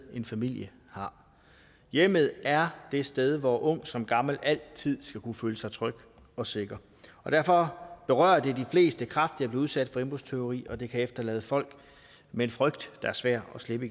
en familie har hjemmet er det sted hvor ung som gammel altid skal kunne føle sig tryg og sikker derfor berører det de fleste kraftigt udsat for indbrudstyveri og det kan efterlade folk med en frygt der er svær at slippe